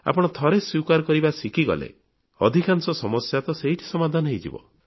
ଆପଣ ଥରେ ସ୍ୱୀକାର କରିବା ଶିଖିଗଲେ ଅଧିକାଂଶ ସମସ୍ୟା ତ ସେଠି ସମାଧାନ ହେଇଯିବ